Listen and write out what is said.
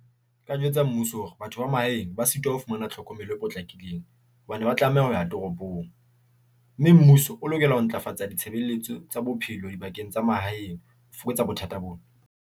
Nka jwetsa mmuso hore batho ba mahaeng ba sitwa ho fumana tlhokomelo e potlakileng hobane ba tlameha ho ya toropong, mme mmuso o lokela ho ntlafatsa ditshebeletso tsa bophelo dibakeng tsa mahaeng ho fokotsa bothata bona.